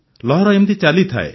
ଲହର ଏମିତି ଚାଲିଥାଏ